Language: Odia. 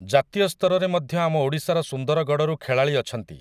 ଜାତୀୟ ସ୍ତରରେ ମଧ୍ୟ ଆମ ଓଡ଼ିଶାର ସୁନ୍ଦରଗଡ଼ରୁ ଖେଳାଳି ଅଛନ୍ତି ।